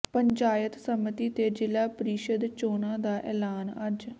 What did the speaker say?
ਪੰਚਾਇਤ ਸਮਿਤੀ ਤੇ ਜ਼ਿਲ੍ਹਾ ਪ੍ਰੀਸ਼ਦ ਚੋਣਾਂ ਦਾ ਐਲਾਨ ਅੱਜ